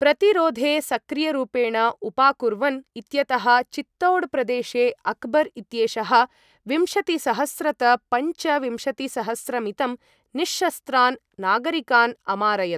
प्रतिरोधे सक्रियरूपेण उपाकुर्वन् इत्यतः चित्तौड् प्रदेशे अक्बर् इत्येषः विंशतिसहस्रत पंच विम्शतिसहस्रमितं निःशस्त्रान् नागरिकान् अमारयत्।